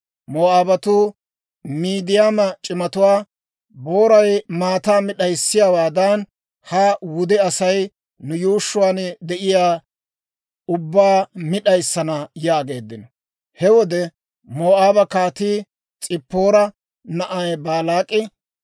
Moo'aabatuu Midiyaama c'imatuwaa, «Booray maataa mi d'ayssiyaawaadan ha wude Asay nu yuushshuwaan de'iyaa ubbaa mi d'ayissana» yaageeddino. He wode Moo'aaba Kaatii, S'ippoora na'ay Baalaak'i